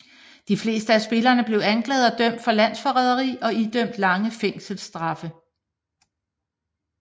De fleste af spillerne blev anklaget og dømt for landsforræderi og idømt lange fængselsstraffe